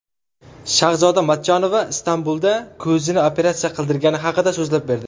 Shahzoda Matchonova Istanbulda ko‘zini operatsiya qildirgani haqida so‘zlab berdi.